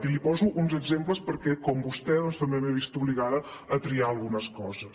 i li poso uns exemples perquè com vostè doncs també m’he vist obligada a triar algunes coses